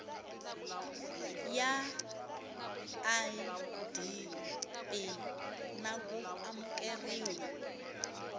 ya idp na ku amukeriwa